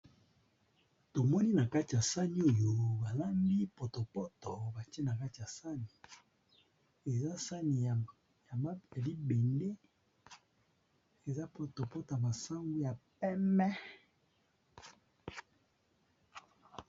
Tomoni na kati ya sani oyo balambi potopoto bakie na kati ya sani eza sani ya ma ya libende eza poto poto masango ya peme.